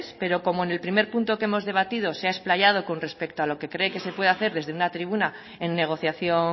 pero como en el primer punto que hemos debatido se ha explayado con respecto a lo que se cree que se puede hacer desde una tribuna en negociación